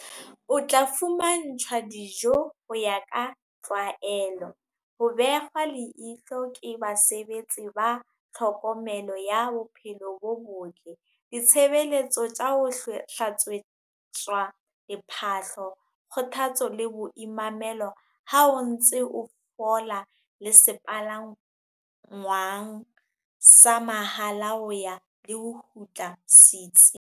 O tla fumantshwa dijo ho ya ka tlwaelo, ho behwa leihlo ke basebetsi ba tlhokomelo ya bophelo bo botle, ditshebeletso tsa ho hlatswetswa diphahlo, kgothatso le boimamelo ha o ntse o fola le sepalangwang sa mahala ho ya le ho kgutla setsing.